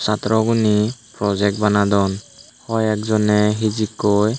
satro gune project banadon hoi ek jone hijikkoi.